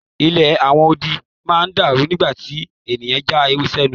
Ilé àwọn odi náà dàrú nígbà tí ẹnìkan já ewé sí ẹnu.